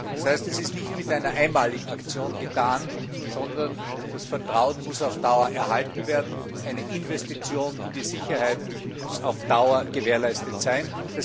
Das heißt, es ist nicht mit einer einmaligen Aktion getan, sondern das Vertrauen muss auf Dauer erhalten werden, eine Investition in die Sicherheit muss auf Dauer gewährleistet sein.